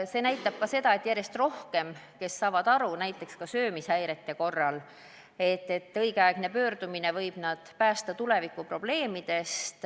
Seda näitab ka see, et järjest rohkem on neid, kes saavad aru, et näiteks söömishäirete korral võib õigeaegne pöördumine päästa nad tulevikuprobleemidest.